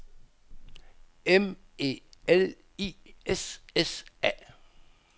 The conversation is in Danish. M E L I S S A